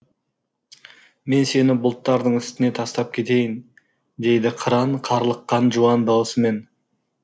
мен сені бұлттардың үстіне тастап кетейін дейді қыран қарлыққан жуан даусымен